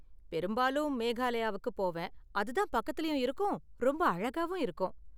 பெரும்பாலும் மேகலாயாவுக்கு போவேன், அது தான் பக்கத்துலயும் இருக்கும் ரொம்ப அழகாவும் இருக்கும்.